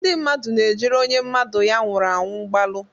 Ndị mmadụ na-ejere onye mmadụ ya nwụrụ anwụ mgbalu.